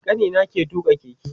Kanina ke tuƙa keke